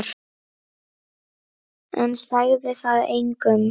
En sagði það engum.